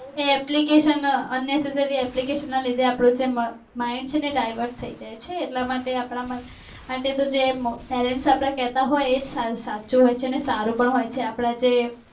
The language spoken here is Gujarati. એ applicationunnecessariy-application કે જેના લીધે છે અપ્ડું મગજ mind છે ને એ divert થય જાય છે એટલા માટે અપડા માટે જે parents અપડા કેટ હોઈ એ સાચું હોય છે અને સારું પણ હોય છે